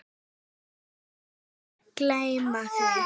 Þú mátt aldrei gleyma því.